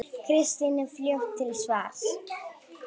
Kristín er fljót til svars.